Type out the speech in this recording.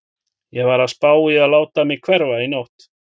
Ég var að spá í að láta mig hverfa í nótt.